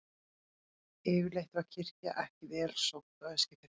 Yfirleitt var kirkja ekki vel sótt á Eskifirði.